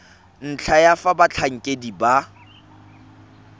ntlha ya fa batlhankedi ba